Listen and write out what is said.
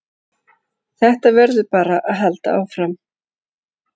Þetta verður bara að halda áfram